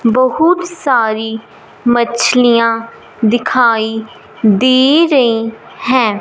बहुत सारी मछलियां दिखाई दे रही हैं।